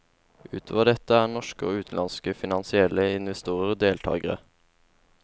Utover dette er norske og utenlandske finansielle investorer deltagere.